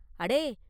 “அடே!